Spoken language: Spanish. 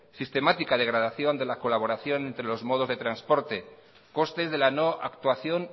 sistemática degradación de la colaboración entre los modos de transportes costes de la no actuación